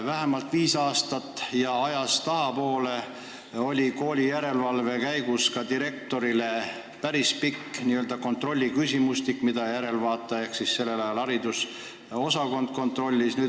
Vähemalt viis aastat või rohkem aega tagasi esitati koolide järelevalve käigus direktoritele päris pikk n-ö kontrolliküsimustik, mille vastuseid järelevaataja ehk sellel ajal haridusosakond kontrollis.